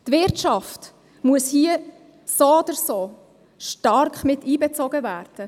Die Wirtschaft muss hier, so oder so, stark einbezogen werden.